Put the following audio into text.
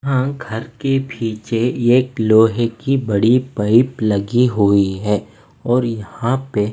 यहां घर के पीछे एक लोहे की बड़ी पाइप लगी हुई है और यहां पे--